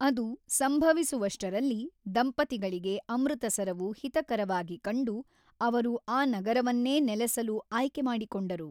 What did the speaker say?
ಅದು ಸಂಭವಿಸುವಷ್ಟರಲ್ಲಿ, ದಂಪತಿಗಳಿಗೆ ಅಮೃತಸರವು ಹಿತಕರವಾಗಿ ಕಂಡು ಅವರು ಆ ನಗರವನ್ನೇ ನೆಲೆಸಲು ಆಯ್ಕೆ ಮಾಡಿಕೊಂಡರು.